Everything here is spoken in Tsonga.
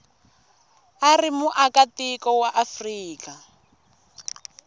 u ri muakatiko wa afrika